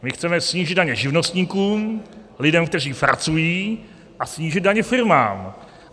My chceme snížit daně živnostníkům, lidem, kteří pracují, a snížit daně firmám.